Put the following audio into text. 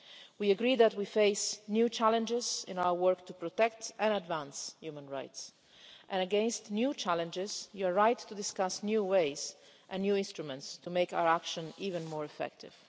We agreed that we face new challenges in our work to protect and advance human rights and, against new challenges, you are right to discuss new ways and new instruments to make our action even more effective.